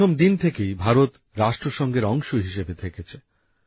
প্রথম দিন থেকেই ভারত রাষ্ট্রসংঘের অংশ হিসাবে থেকেছে